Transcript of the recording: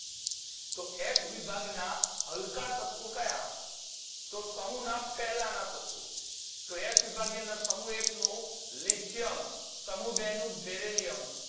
તો એસ વિભાગના હલકા તત્વો કયા તો સમૂહના પહેલના તત્વો તો એસ વિભાગની અંદર સમૂહ એક નું lithium સમૂહ બે નું beryllium